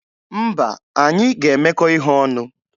Mba, anyị ga-emekọ ihe ọnụ.